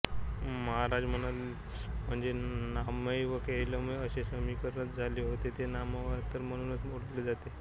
महाराज म्हणजे नामैव केवलम् असे समीकरणच झाले होते ते नामावतार म्हणूनच ओळखले जात